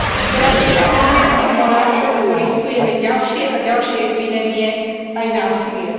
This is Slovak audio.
Teraz treba urgentne konať, lebo riskujeme ďalšie a ďalšie epidémie aj násilie.